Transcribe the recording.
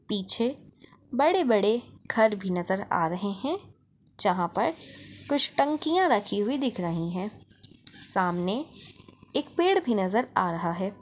पीछे बड़े-बड़े घर भी नज़र आ रहे हैं जहाँ पर कुछ टंकिया रखी हुई दिख रही हैं सामने एक पेड़ भी नज़र आ रहा हैं।